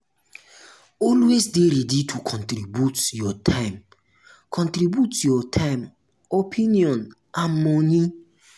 always de ready to contribute your time contribute your time opinion and money